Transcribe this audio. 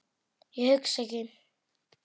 Ég hugsa ekki.